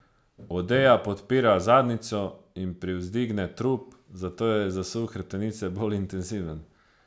Odeja podpira zadnjico in privzdigne trup, zato je zasuk hrbtenice bolj intenziven.